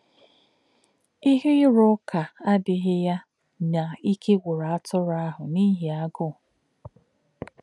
Íhè̄ írụ́ ụ́kà̄ àdí̄ghí̄ yá̄ nà̄ íkè̄ gwù̄rù̄ àtụ̄rụ̄ àhū̄ n’íhì̄ àgụ́.